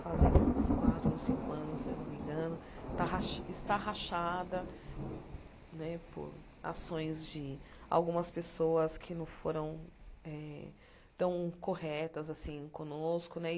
fazem uns quatro ou cinco anos, se não me engano, está rach está rachada né por ações de algumas pessoas que não foram eh tão corretas assim conosco né e.